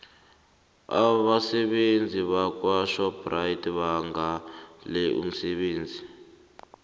abasebenzi bakwashoprite bangale umsebenzi